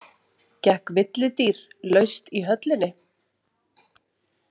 Gekk villidýr laust í höllinni?